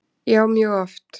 Já mjög oft.